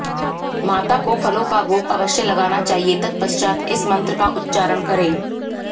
माता को फलों का भोग अवश्य लगाना चाहिए तत्पश्चात इस मंत्र का उच्चारण करें